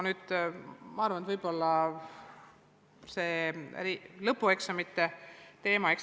Nüüd see lõpueksamite teema.